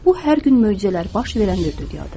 Bu hər gün möcüzələr baş verən bir dünyadır.